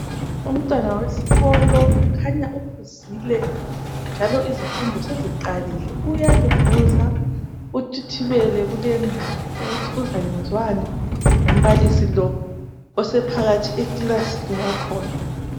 Umntwana wesikolo kukhanya uphuzile njalo izifundo seziqalile. Uyalunguza uthithibele kulendawo ukuthi uzakwenziwani ngumbalisi lo osephakathi ekilasini yakhona.